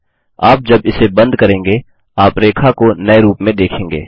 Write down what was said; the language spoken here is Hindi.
आप जब इसे बंद करेंगे आप रेखा को नये रूप में देखेंगे